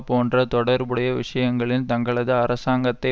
போன்ற தொடர்புடைய விஷயங்களிலன் தங்களது அரசாங்கத்தை